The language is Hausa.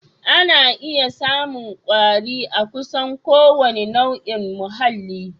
Ana iya samun kwari a kusan kowane nau'in muhalli